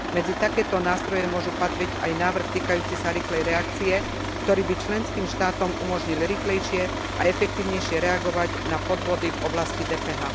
Medzi takéto nástroje môže patriť aj návrh týkajúci sa rýchlej reakcie, ktorý by členským štátom umožnil rýchlejšie a efektívnejšie reagovať na podvody v oblasti DPH.